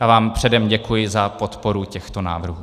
Já vám předem děkuji za podporu těchto návrhů.